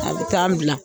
A bɛ taa n bila